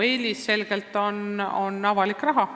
Mina eelistan selgelt avalikku raha.